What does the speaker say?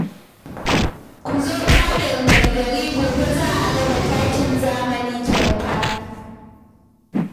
Ku zo fadar mai gari gobe za a raba takin zamani kyauta